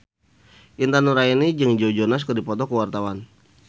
Intan Nuraini jeung Joe Jonas keur dipoto ku wartawan